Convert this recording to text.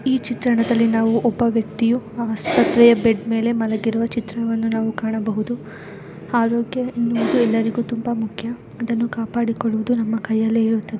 ಈ ಚಿತ್ರಣದಲ್ಲಿ ನಾವು ಒಬ್ಬ ವ್ಯಕ್ತಿಯು ಆಸ್ಪತ್ರೆಯ ಬೆಡ್ ಮೇಲೆ ಮಲಗಿರುವ ಚಿತ್ರವನ್ನು ನಾವು ಕಾಣಬಹುದು ಅರೋಗ್ಯ ಎನ್ನುವುದು ಎಲ್ಲರಿಗೂ ತುಂಬಾ ಮುಖ್ಯ ಅದನ್ನು ಕಾಪಾಡಿಕೊಳ್ಳುವುದು ನಮ್ಮ ಕೈಯಲ್ಲೇ ಇರುತ್ತದೆ.